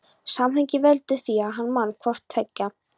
Samhengið veldur því að hann man hvort tveggja.